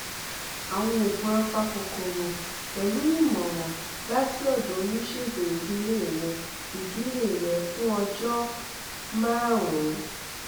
àwọn oògùn apakòkòrò pẹlú ìmọràn láti ọdọ oníṣègùn ìdílé rẹ ìdílé rẹ fún ọjọ márùnún